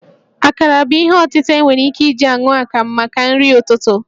Akarà bụ ihe ọtịta e nwere ike iji aṅụ akamụ maka nrị ụtụtụ